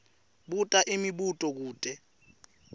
buta imibuto kute